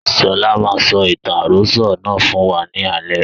Sọlá máa sọ ìtàn àròsọ̀ náà fún wa ní alẹ́